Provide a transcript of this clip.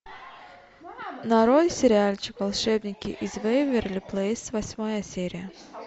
нарой сериальчик волшебники из вэйверли плэйс восьмая серия